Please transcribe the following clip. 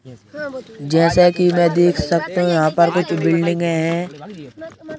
जैसे कि मैं देख सकता हूं यहाँ पर कुछ बिल्डिंग हैं।